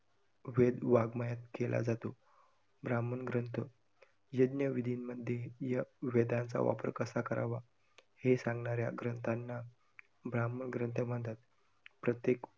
वेद वाङमयात केला जातो. ब्राह्मण ग्रंथ, यज्ञ विधीमध्ये या वेदांचा वापर कसा करावा हे सांगणाऱ्या ग्रंथांना ब्राह्मण ग्रंथ म्हणतात, प्रत्येक वेद